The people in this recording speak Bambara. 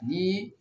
Ni